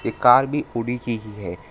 Car भी थोड़ी सी ही है।